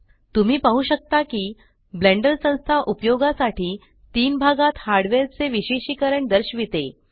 तुम्ही पाहु शकता की ब्लेण्डर संस्था उपयोगासाठी तीन भागात हार्डवेअर चे विशेषिकरण दर्शविते